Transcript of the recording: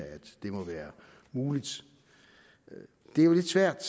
at det må være muligt det er lidt svært